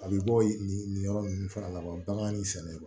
A bɛ bɔ nin nin yɔrɔ nunnu fana la kaban bagan in sɛnɛyɔrɔ